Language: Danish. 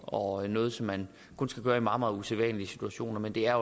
og noget som man kun skal gøre i meget meget usædvanlige situationer men det er